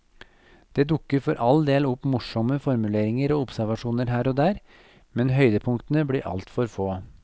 Det dukker for all del opp morsomme formuleringer og observasjoner her og der, men høydepunktene blir altfor få.